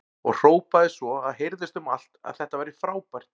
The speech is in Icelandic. Og hrópaði svo að heyrðist um allt að þetta væri frábært!